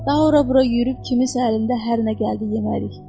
Daha ora-bura yürüyüb kiminsə əlində hər nə gəldi yemərik.